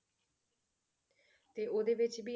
ਤੇ ਉਹਦੇ ਵਿੱਚ ਵੀ